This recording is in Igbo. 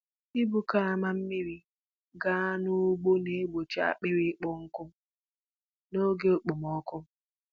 Ibu karama mmiri gaa n’ugbo na-egbochi akpịrị ịkpọ nkụ n’oge okpomọkụ.